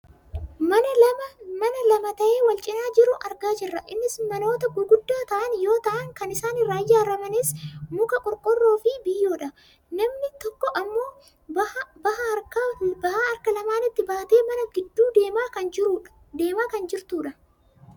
mana lama ta'ee wal cinaa jiru argaa jirra. innis manoota gurguddaa ta'an yoo ta'an kan isaan irraa ijaarramanis muka, qorqoorroofi biyyoodha. namni tokko ammoo baha harka lamaanitti baattee mana kana gidduu deemaa kan jirtudha.